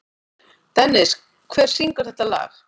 Dennis, hver syngur þetta lag?